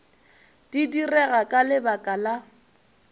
di direga ka lebaka la